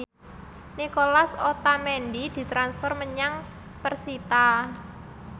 Nicolas Otamendi ditransfer menyang persita